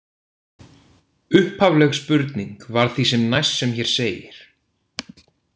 Upphafleg spurning var því sem næst sem hér segir: